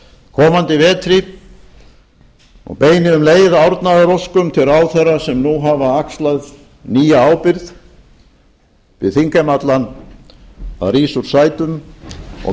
komandi vetri og beini um leið árnaðaróskum til ráðherra sem nú hafa axlað nýja ábyrgð bið þingheim allan að rísa úr sætum og